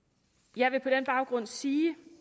jeg vil på den baggrund sige